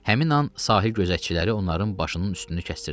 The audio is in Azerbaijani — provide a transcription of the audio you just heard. Həmin an sahil gözətçiləri onların başının üstünü kəsdirdilər.